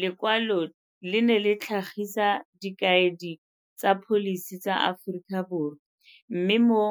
Lekwalo le ne le tlhagisa dikaedi tsa pholisi tsa Aforika Borwa mme, mo